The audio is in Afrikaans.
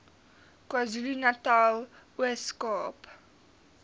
kwazulunatal ooskaap